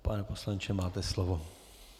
Pane poslanče, máte slovo.